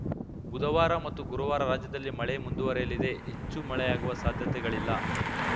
ಬುಧವಾರ ಮತ್ತು ಗುರುವಾರ ರಾಜ್ಯದಲ್ಲಿ ಮಳೆ ಮುಂದುವರೆಯಲಿದೆ ಹೆಚ್ಚು ಮಳೆಯಾಗುವ ಸಾಧ್ಯತೆಗಳಿಲ್ಲ